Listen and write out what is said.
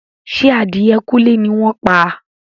Ṣé adìẹ kúnlé ni wọ́n pa?